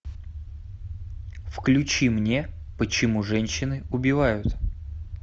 включи мне почему женщины убивают